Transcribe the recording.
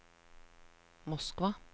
Moskva